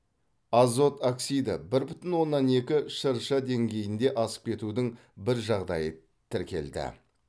азот оксиді бір бүтін оннан екі шрш деңгейінде асып кетудің бір жағдайы тікелді